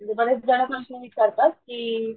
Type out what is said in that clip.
तिथं बरेच जण असं पण विचारतात कि,